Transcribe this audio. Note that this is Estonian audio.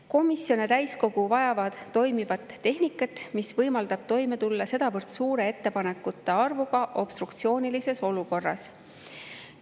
Komisjon ja täiskogu vajavad toimivat tehnikat, mis võimaldab toime tulla sedavõrd suure ettepanekute arvuga obstruktsioonilises olukorras.